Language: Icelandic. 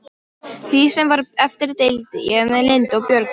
Því sem var eftir deildi ég með Lindu og Björgu.